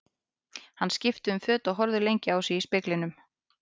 Hann skipti um föt og horfði lengi á sig í speglinum.